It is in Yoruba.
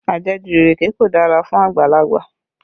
Ajẹ̀jù ìrèké kò dára fún àgbàlagbà